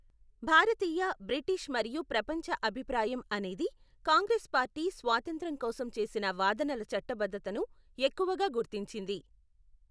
భారతీయ, British మరియు ప్రపంచ అభిప్రాయం అనేది కాంగ్రెస్ పార్టీ స్వాతంత్ర్యం కోసం చేసిన వాదనల చట్టబద్ధతను ఎక్కువగా గుర్తించింది.